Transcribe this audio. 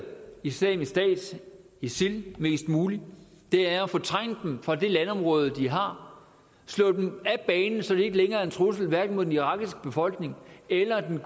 islamisk stat isil mest muligt det er at fortrænge dem fra det landområde de har slå dem af banen så de ikke længere er en trussel hverken mod den irakiske befolkning eller den